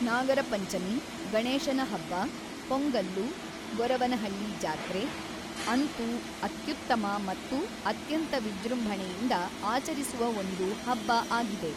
ನಾಗರ ಪಂಚಮಿ, ಗಣೇಶನ ಹಬ್ಬ, ಪೊಂಗಲ್ಲು, ಗೊರವನಹಳ್ಳಿ ಜಾತ್ರೆ, ಅಂತೂ ಅತ್ಯುತ್ತಮ ಮತ್ತು ಅತ್ಯಂತ ವಿಜೃಂಭಣೆಯಿಂದ ಆಚರಿಸುವ ಒಂದು ಹಬ್ಬ ಆಗಿದೆ.